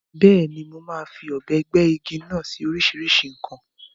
Bẹ́ẹ̀ni, mo máa fi ọ̀bẹ gbẹ́ igi náà sí oríṣìíríṣìí nǹkan.